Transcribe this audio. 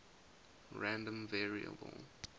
random variable